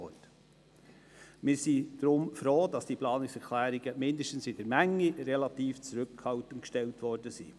Wir sind deshalb froh, dass die Menge der Planungserklärung relativ klein geblieben ist.